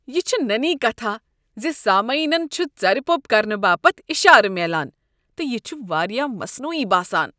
یہ چھ نٔنۍ کتھاہ ز سامعینن چھُ ژرِپو٘پ کرنہٕ باپت اشارٕ میلان تہٕ یہ چھ واریاہ مصنوعی باسان۔